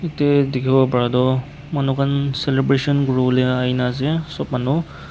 te dikhiwo paratoh manu khan celebration kuriwolae aina ase sop manu.